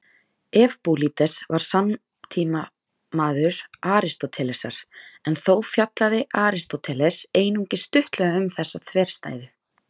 Evbúlídes var samtímamaður Aristótelesar, en þó fjallaði Aristóteles einungis stuttlega um þessa þverstæðu.